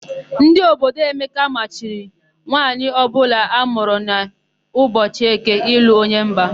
Ndị obodo Emeka machiri nwaanyị ọbụla amụrụ n'ụbọchị Eke ịlụ onye mba.